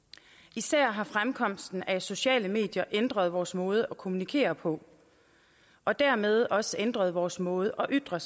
især har fremkomsten af sociale medier ændret vores måde at kommunikere på og dermed også ændret vores måde at ytre